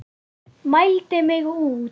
Mældi mig út.